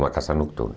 Uma casa noturna.